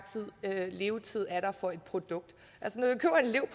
levetid for et produkt